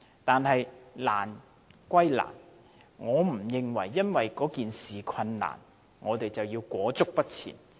但是，難歸難，不能因為問題困難，我們便裹足不前。